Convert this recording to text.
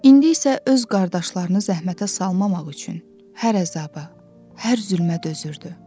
İndi isə öz qardaşlarını zəhmətə salmamaq üçün hər əzaba, hər zülmə dözürdü.